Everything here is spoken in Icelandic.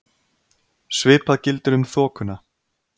Svipað gildir um þokuna.